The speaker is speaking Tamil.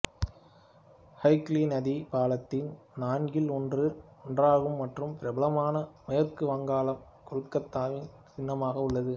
ஹூக்ளி நதி பாலத்தின் நான்கில் ஒன்றாகும் மற்றும் பிரபலமான மேற்கு வங்காளம் கொல்கத்தாவின் சின்னமாக உள்ளது